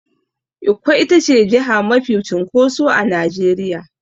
Ikko itace jiha mafi cunkoso a Nigeria.